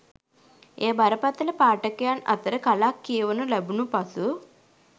එය බරපතල පාඨකයන් අතර කලක් කියවනු ලැබුණ පසු